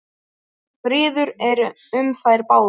Friður er um þær báðar.